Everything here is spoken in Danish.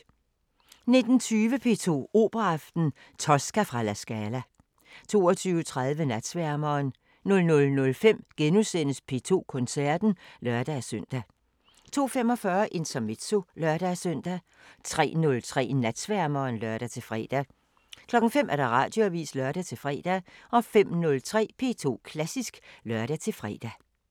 19:20: P2 Operaaften: Tosca fra La Scala 22:30: Natsværmeren 00:05: P2 Koncerten *(lør-søn) 02:45: Intermezzo (lør-søn) 03:03: Natsværmeren (lør-fre) 05:00: Radioavisen (lør-fre) 05:03: P2 Klassisk (lør-fre)